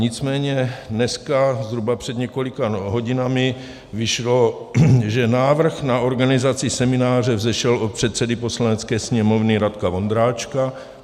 Nicméně dneska zhruba před několika hodinami vyšlo, že návrh na organizaci semináře vzešel od předsedy Poslanecké sněmovny Radka Vondráčka.